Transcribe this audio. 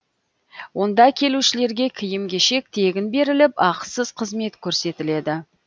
онда келушілерге киім кешек тегін беріліп ақысыз қызмет көрсетіледі